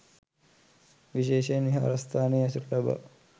විශේෂයෙන් විහාරස්ථානයේ ඇසුර ලබා